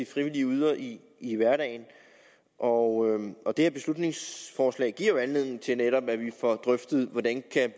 frivillige yder i i hverdagen og og det her beslutningsforslag giver jo anledning til netop at få drøftet hvordan